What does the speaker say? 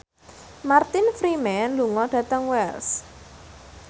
Martin Freeman lunga dhateng Wells